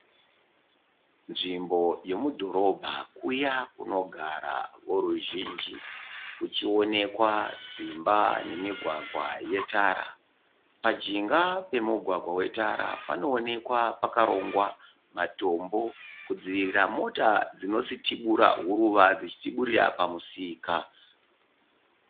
Nzvimbo yomudhorobha kuya kunogara voruzhinji. Kuchionekwa dzimba nemigwagwa yetara. Pajinga pemugwagwa wetara panoonekwa pakarongwa matombo kudzivirira mota dzinositibura huruva dzichitiburira pamusika.